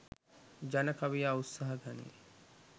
ජන කවියා උත්සාහ ගනියි.